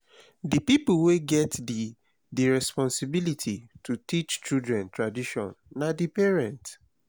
di pipo wey get di di responsibility to teach children tradition na di parents